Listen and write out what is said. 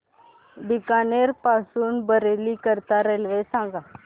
बीकानेर पासून बरेली करीता रेल्वे सांगा